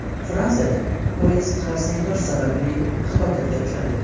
Fransiyada poyezd xarsang tosh sababli halokatga uchradi.